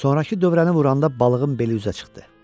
Sonrakı dövrəni vuranda balığın beli üzə çıxdı.